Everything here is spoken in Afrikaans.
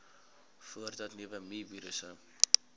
voordat nuwe mivirusse